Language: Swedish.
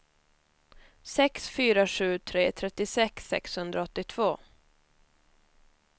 sex fyra sju tre trettiosex sexhundraåttiotvå